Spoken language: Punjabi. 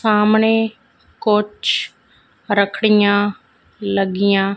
ਸਾਹਮਣੇ ਕੁੱਛ ਰੱਖਡੀਆਂ ਲੱਗੀਆਂ।